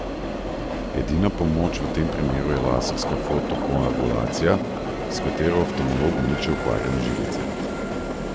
Edina pomoč v tem primeru je laserska fotokoagulacija, s katero oftalmolog uniči okvarjene žilice.